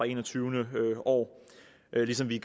enogtyvende år ligesom vi